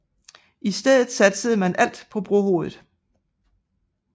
I stedet satsede man alt på brohovedet